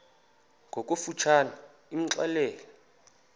ngokofu tshane imxelele